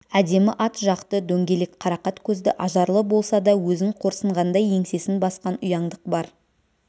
әдемі ат жақты дөңгелек қарақат көзді ажарлы болса да өзін қорсынғандай еңсесін басқан ұяңдық бар